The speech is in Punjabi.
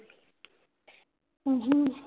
ਉਹੂੰ